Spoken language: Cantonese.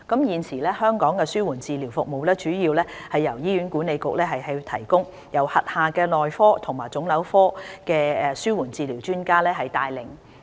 現時，香港的紓緩治療服務主要由醫院管理局提供，並由轄下內科及腫瘤科的紓緩治療專家帶領。